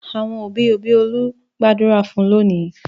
Àwọn òbí-òbí Olú gbàdúrà fún lónìí.